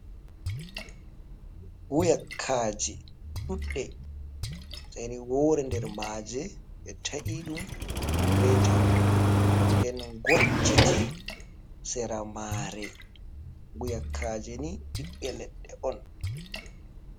Guyakaje ɗuɗɗe, sai ni woore nder maaje ɓe ta’i ɗum reeta, nden ngocciti sera maare. Guyakaje ni ɓiɓɓe leɗɗe on.